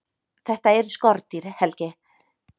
Þetta eru skordýr, Helgi.